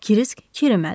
Krisk kirimədi.